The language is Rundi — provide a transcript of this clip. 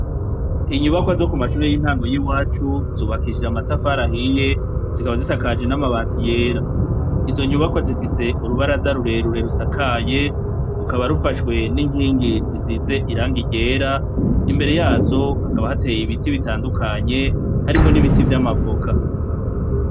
inyubakwa zo ku mashuri y'intango y'iwacu zubakishije amatafarahiye zikaba zisakaje n'amabati yera izo nyubakwa zifise urubaraza rurerure rusakaye rukaba rufashwe n'inkingi zisize iranga ryera imbere yazo hakaba hateye ibiti bitandukanye harimo n'ibiti vy'amavoka